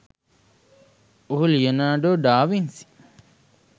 ඔහු Leonardo da Vinci